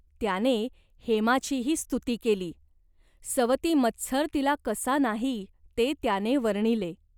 त्याने हेमाचीही स्तुती केली. सवतीमत्सर तिला कसा नाही ते त्याने वर्णिले.